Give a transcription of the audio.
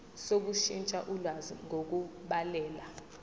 sokushintsha ulwazi ngokubhalela